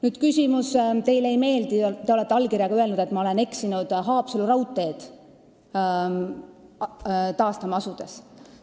Nüüd see, et te olete oma allkirjaga kinnitanud, et ma olen Haapsalu raudteed taastama asudes eksinud.